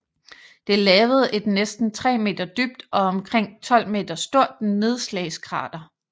Det lavede et næsten tre meter dybt og omkring 12 meter stort nedslagskrater